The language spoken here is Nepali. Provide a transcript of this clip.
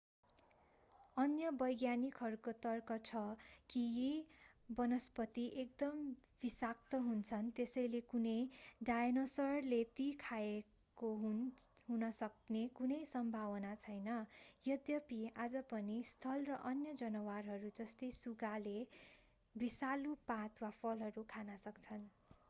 अन्य वैज्ञानिकहरूको तर्क छ कि यी वनस्पति एकदम विषाक्त हुन्छन् त्यसैले कुनै डायनोसरले ती खाएको हुन सक्ने कुनै सम्भावना छैन यद्यपि आज पनि स्लथ र अन्य जनावरहरू जस्तै सुगा डायनोसोरको एक वंशज ले विषालु पात वा फलहरू खान सक्छन्।